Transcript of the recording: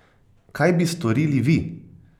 Kaj bi storili vi?